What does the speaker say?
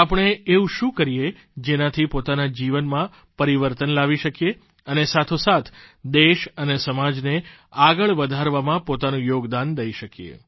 આપણે એવું શું કરીએ જેનાથી પોતાના જીવનમાં પરિવર્તન લાવી શકીએ અને સાથોસાથ દેશ અને સમાજને આગળ વધારવામાં પોતાનું યોગદાન દઇ શકીએ